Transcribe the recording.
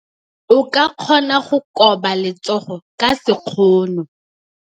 O ka kgona go koba letsogo ka sekgono.